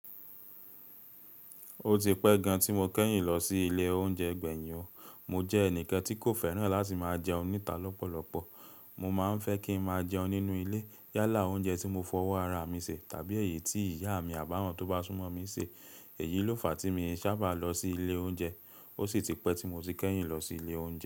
Ó ti pẹ́ gan tí mo kẹ́yìn lọ sí ilé oúnjẹ gbẹ̀yin. Mo jẹ ẹnikan ti ko fẹ́ràn lati ma jẹun níta lọpọlọpọ. Mo máa ń fẹ́ kí n máa jẹun nínú ilé. Yálà oúnjẹ tí mo fọwọ́ ara mi se tàbí èyí tí ìyá mi àbáwọ́n tó bá súnmọ́ mi ṣe. Èyí ló fà á tí mii sábà lọ sí ilé oúnjẹ. Ó sì ti pẹ́ tí mo ti kẹ́yìn lọ sí ilé oúnjẹ.